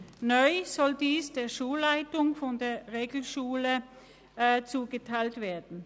Neu soll dies der Schulleitung der Regelschule zugeteilt werden.